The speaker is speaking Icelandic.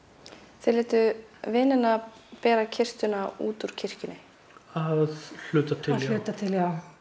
þið létuð vinina bera kistuna út úr kirkjunni að hluta hluta til já